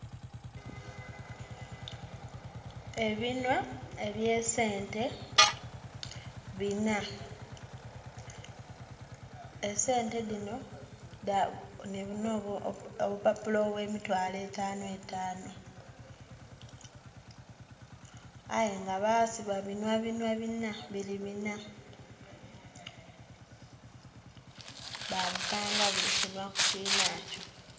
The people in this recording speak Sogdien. Ebinhwa ebye sente binna , esente dhino nhi binho opupapula obwe mitwalo etanu etanu aye nga basiba binhwa binhwa binna biri binna ba bipanga buli kinhwa ku kinhaakyo.